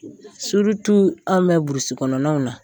Surutu anw bɛ burusi kɔnɔnaw na.